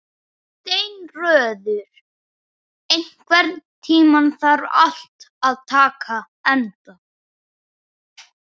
Steinröður, einhvern tímann þarf allt að taka enda.